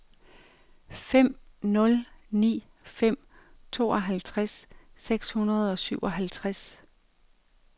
fem nul ni fem tooghalvtreds seks hundrede og syvoghalvtreds